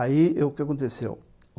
Aí, o que aconteceu?